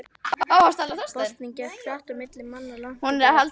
Boltinn gekk hratt á milli manna langt úti á velli.